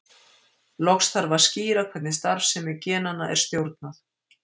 Loks þarf að skýra hvernig starfsemi genanna er stjórnað.